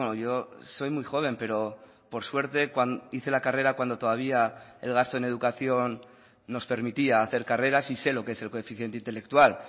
yo soy muy joven pero por suerte hice la carrera cuando todavía el gasto en educación nos permitía hacer carreras y sé lo que es el coeficiente intelectual